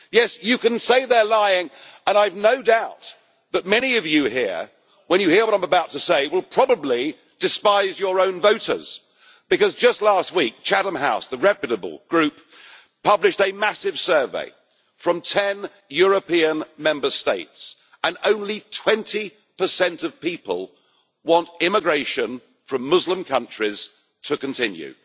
Yes, you can say they are lying and I have no doubt that many of you here, when you hear what I am about to say, will probably despise your own voters because last week the reputable group, Chatham House, published a massive survey from ten EU Member States and only 20 of people want immigration from Muslim countries to continue.